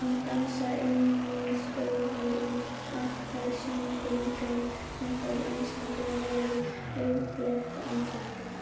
Hún dansaði inn í stofuna í appelsínugulum kjól sem fór einstaklega vel við rauðbleikt andlitið.